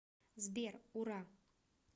сбер ура